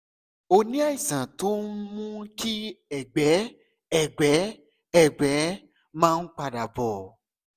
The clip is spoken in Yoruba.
o ní àìsàn tó ń mú kí ẹ̀gbẹ́ ẹ̀gbẹ́ ẹ̀gbẹ́ máa ń padà bọ̀